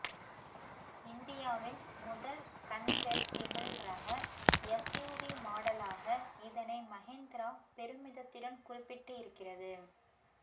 இந்தியாவின் முதல் கன்வெர்ட்டிபிள் ரக எஸ்யூவி மாடலாக இதனை மஹிந்திரா பெருமிதத்துடன் குறிப்பிட்டு இருக்கிறது